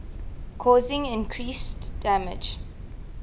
causing increased damage